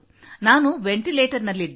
ನಾನು ವೆಂಟಿಲೇಟರ್ನಲ್ಲಿದ್ದೆ